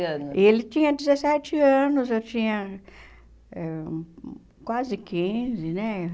anos. E ele tinha dezessete anos, eu tinha quase quinze, né?